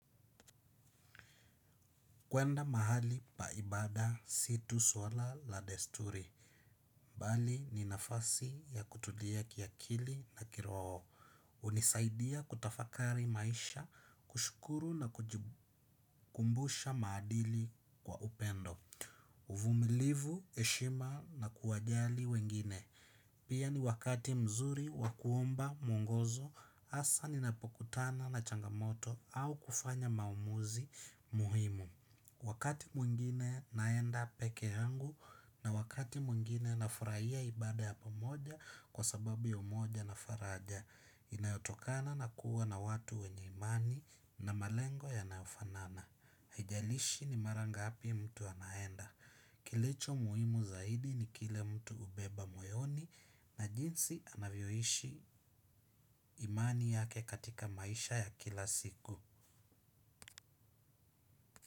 Kuenda mahali pa ibaada si swala tu la desturi bali ni nafasi ya kutulia kiakili na kiroho. Hunisaidia kutafakari maisha kushukuru na kujikumbusha maadili kwa upendo. Uvumilivu heshima na kuwajali wengine. Pia ni wakati mzuri wa kuomba mungozo hasa ninapokutana na changamoto au kufanya maamuzi muhimu. Wakati mwingine naenda peke yangu na wakati mwingine na furahia ibaada ya pamoja kwa sababu ya umoja na faraja, inayotokana na kuwa na watu wenye imani na malengo yanayofanana. Haijalishi ni mara ngapi mtu anaenda. Kilicho muhimu zaidi ni kile mtu hubeba moyoni na jinsi anavyoishi imani yake katika maisha ya kila siku.